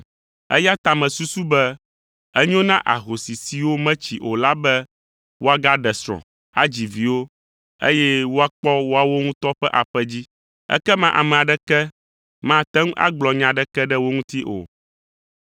Eya ta mesusu be enyo na ahosi siwo metsi o la be woagaɖe srɔ̃, adzi viwo, eye woakpɔ woawo ŋutɔ ƒe aƒe dzi. Ekema ame aɖeke mate ŋu agblɔ nya aɖeke ɖe wo ŋuti o.